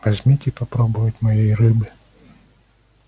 возьмите попробовать моей рыбы